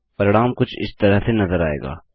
परिणाम कुछ इस तरह से नज़र आएगा